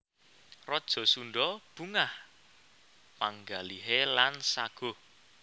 Raja Sundha bungah panggalihé lan saguh